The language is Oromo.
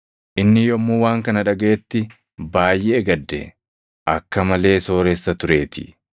Inni yommuu waan kana dhagaʼetti baayʼee gadde; akka malee sooressa tureetii.